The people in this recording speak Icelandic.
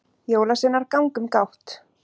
jólasveinar ganga um gátt